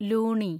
Luni